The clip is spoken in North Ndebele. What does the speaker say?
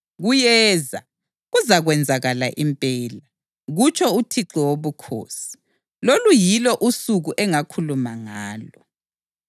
Kuyeza! Kuzakwenzakala impela, kutsho uThixo Wobukhosi. Lolu yilo usuku engakhuluma ngalo.